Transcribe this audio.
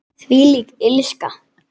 Þvílík illska.